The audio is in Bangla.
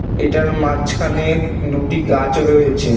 এটার মাজ খানে দুটি গাছ রয়েছে।